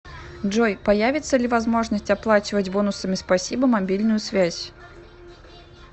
джой появится ли возможность оплачивать бонусами спасибо мобильную связь